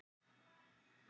Ari horfði á hann undrandi.